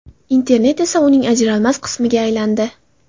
Internet esa uning ajralmas qismiga aylandi.